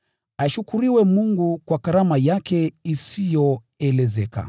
Ashukuriwe Mungu kwa karama yake isiyoelezeka.